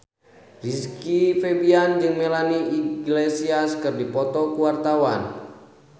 Rizky Febian jeung Melanie Iglesias keur dipoto ku wartawan